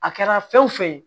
A kɛra fɛn wo fɛn ye